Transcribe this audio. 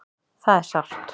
Það er sárt.